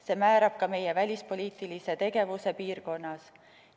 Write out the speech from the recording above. See määrab ka meie välispoliitilise tegevuse piirkonnas.